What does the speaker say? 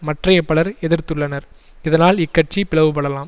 மற்றைய பலர் எதிர்த்துள்ளனர் இதனால் இக்கட்சி பிளவுபடலாம்